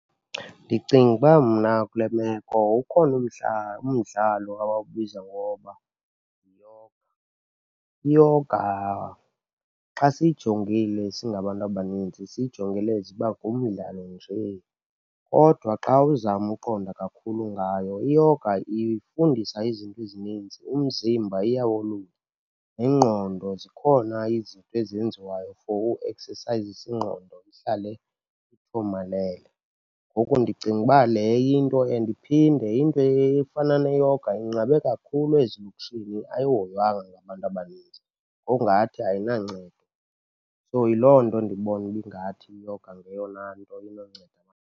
Ndicinga uba mna kule meko ukhona umdla umdlalo abawubiza ngoba . Iyoga xa siyijongile singabantu abaninzi siyijongele as uba ngumdlalo nje. Kodwa xa uzama uqonda kakhulu ngayo, iyoga ifundisa izinto ezininzi, umzimba iya wolulala, nengqondo zikhona izinto ezenziwayo for ueksesayizisa ingqondo ihlale ithomalele. Ngoku ndicinga uba le into and iphinde, into efana neyoga inqabe kakhulu ezilokishini, ayihoywanga ngabantu abaninzi ngokungathi ayinancedo. So, yiloo nto ndibona uba ingathi iyoga ngeyona nto inonceda.